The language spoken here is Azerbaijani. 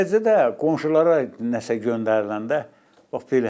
Eləcə də qonşulara nəsə göndəriləndə, bax belə.